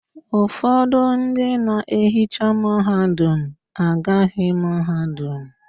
Ụfọdụ ndị na-ehicha mahadum agụghị mahadum